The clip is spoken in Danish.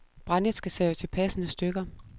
Brændet skal saves i passende stykker.